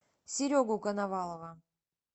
серегу коновалова